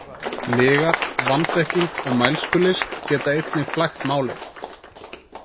Lygar, vanþekking og mælskulist geta einnig flækt málin.